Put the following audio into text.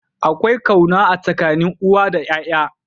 Akwai kauna a tsakanin uwa da yaya.